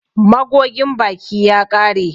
Magogin baki ya ƙare.